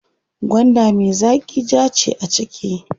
Gwanda me zaƙi jaa ce a ciki.